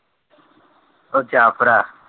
ਉਹ ਜਾ ਭਰਾ।